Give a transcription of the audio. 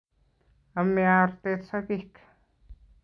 Ame artet sogek